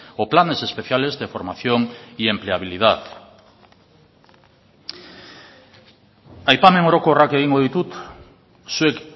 o planes especiales de formación y empleabilidad aipamen orokorrak egingo ditut zuek